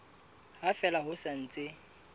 ha fela ho sa ntse